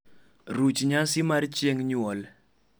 ruch nyasi mar chieng nyuol